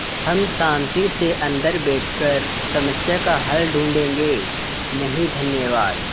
हम शान्ति से अन्दर बैठकर समस्या का हल ढूँढ़े गे नहीं धन्यवाद